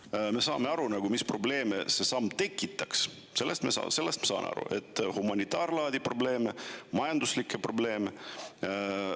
Sellest me saame aru, mis probleeme see samm tekitaks: humanitaarprobleeme, majanduslikke probleeme.